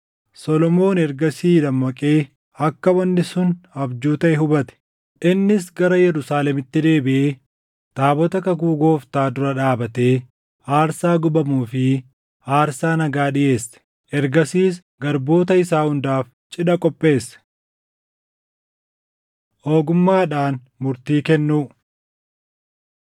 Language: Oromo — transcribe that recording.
Solomoon ergasii dammaqee akka wanni sun abjuu taʼe hubate. Innis gara Yerusaalemitti deebiʼee taabota kakuu Gooftaa dura dhaabatee aarsaa gubamuu fi aarsaa nagaa dhiʼeesse. Ergasiis garboota isaa hundaaf cidha qopheesse. Ogummaadhaan Murtii Kennuu